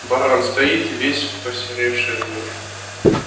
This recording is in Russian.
баран стоит весь посеревший от него